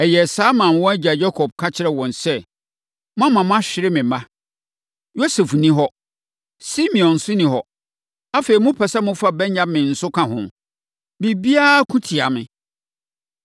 Ɛyɛɛ saa maa wɔn agya Yakob ka kyerɛɛ wɔn sɛ, “Moama mahwere me mma. Yosef nni hɔ; Simeon nso nni hɔ; afei mopɛ sɛ mofa Benyamin nso ka ho! Biribiara ko tia me.”